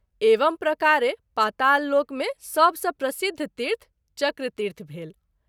एवं प्रकारे पाताल लोक मे सभ सँ प्रसिद्धि तीर्थ “ चक्र तीर्थ “ भेल।